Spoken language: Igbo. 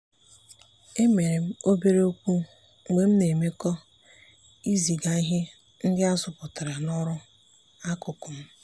emere m obere okwu mgbe m na-emekọ ịziga ihe ndị azụpụtara na ọrụ akụkụ m.